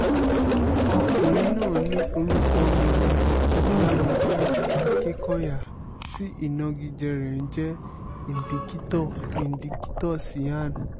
ọkùnrin náà ni orúkọ mi ní olàmìjí akikonya tí ìnagijẹ rẹ̀ ń jẹ́ indikítọ̀ indikítọ̀ cyan